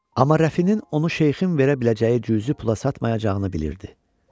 Amma Rəfinin onu şeyxin verə biləcəyi cüzi pula satmayacağını bilirdi.